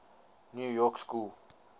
new york school